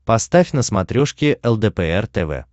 поставь на смотрешке лдпр тв